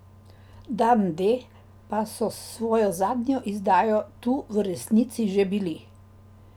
Dan D pa so s svojo zadnjo izdajo tu v resnici že bili.